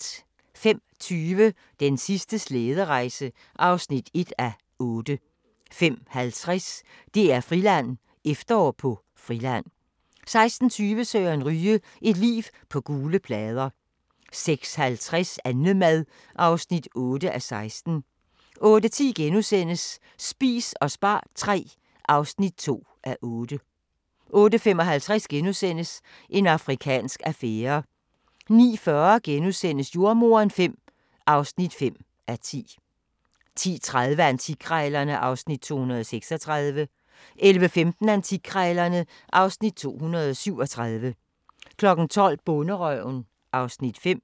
05:20: Den sidste slæderejse (1:8) 05:50: DR-Friland: Efterår på Friland 06:20: Søren Ryge – Et liv på gule plader 06:50: Annemad (8:16) 08:10: Spis og spar III (2:8)* 08:55: En afrikansk affære * 09:40: Jordemoderen V (5:10)* 10:30: Antikkrejlerne (Afs. 236) 11:15: Antikkrejlerne (Afs. 237) 12:00: Bonderøven (Afs. 5)